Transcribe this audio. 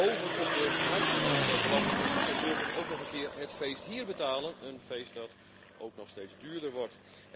Bovenop de nationale belastingen moeten burgers ook nog een keer het feest hier betalen, een feest dat ook nog steeds duurder wordt.